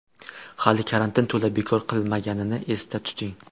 Hali karantin to‘la bekor qilinmaganini esda tuting.